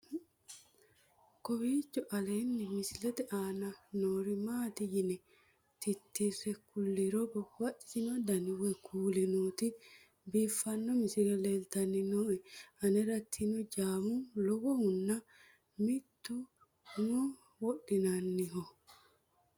kowiicho aleenni misilete aana noori maati yine titire kulliro babaxino dani woy kuuli nooti biiffanno misile leeltanni nooe anera tinojaammu lowohunna mittu umoho wodhinanniho